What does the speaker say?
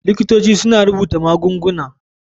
Likitoci suna rubuta magunguna.